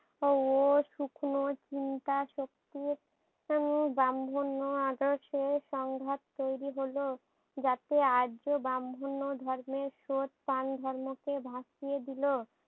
ও শুকনো চিন্তা শক্তির উম ব্রাম্মন্ন আদেশে সংঘাত তৈরী হলো। যাতে আরজো ব্রাম্মহন্ন ধর্মের স্রোত তান ধর্মকে ভাসিয়ে দিলো।